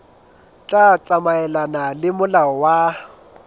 tla tsamaelana le molao wa